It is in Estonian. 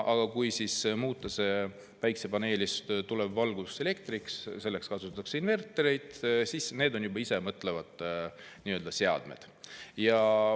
Aga kui muuta see päikesepaneelist tulev valgus elektriks ja selleks kasutatakse invertereid, siis need on juba nii-öelda isemõtlevad seadmed.